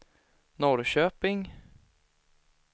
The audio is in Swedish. Norrköping